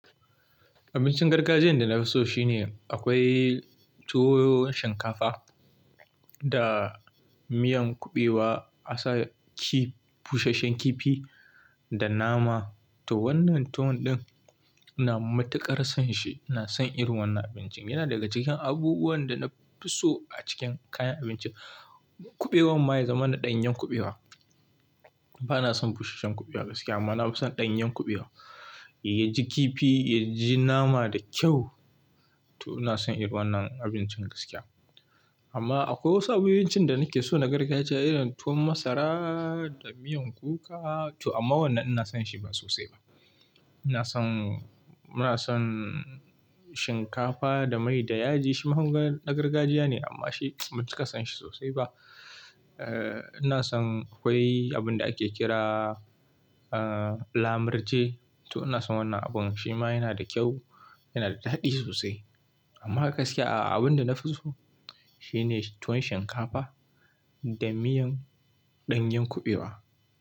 Abincin gargajiyan da na fi so shine akwai tuwon shinkafa da miyan kuɓewa, asa kifi, busasshen kifi da nama. To wannan tuwo din ina matuƙar son shi. Ina son irin wannan abincin. Yana daga cikin abubuwan da na fi so a cikin kayan abinci. Kuɓewan ma ya zama na ɗanyen kuɓewa. Ba na son busasshen kuɓewa gaskiya amma na fi son ɗanyen kuɓewa. Ya ji kifi, ya ji nama da kyau. To ina son irin wannan abincin gaskiya. Amma akwai wasu abincin da nake so na gargajiya irin tuwon masara da miyan kuka. To amma wannan ina son shi ba sosai ba. Ina son, ina son shinkafa da mai da yaji. Shi ma na gargajiya ne amma shi ba mu cika son shi sosai ba. Ina son akwai abin da ake kira, lamurje. To ina son wannan abun. Shi ma yana da kyau, yana da daɗi sosai. Amma gaskiya abin da na fi so shine tuwon shinkafa da miyan ɗanyen kuɓewa.